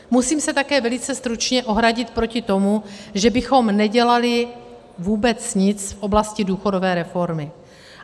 Musím se také velice stručně ohradit proti tomu, že bychom nedělali vůbec nic v oblasti důchodové reformy.